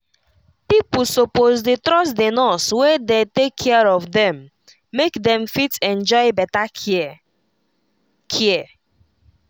pipo suppose dey trust the nurse wey dey take care of them make them fit enjoy better care. care.